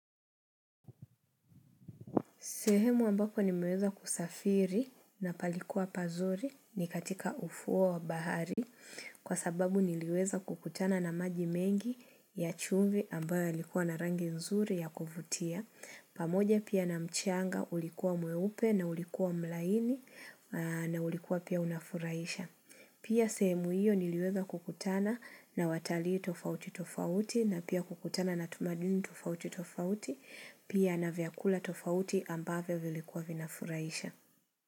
Sehemu ambapo nimeweza kusafiri na palikuwa pazuri ni katika ufuo wa bahari kwa sababu niliweza kukutana na maji mengi ya chumvi ambayo yalikuwa na rangi nzuri ya kuvutia. Pamoja pia na mchanga ulikuwa mweupe na ulikuwa mlaini na ulikuwa pia unafurahisha. Pia sehemu hiyo niliweza kukutana na watalii tofauti tofauti na pia kukutana na tumaduni tofauti tofauti pia na vyakula tofauti ambavyo vilikuwa vinafurahisha.